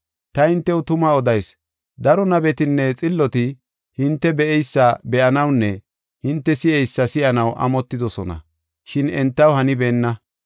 Ta hintew tuma odayis; daro nabetinne xilloti hinte be7eysa be7anawunne hinte si7eysa si7anaw amotidosona, shin entaw hanibeenna.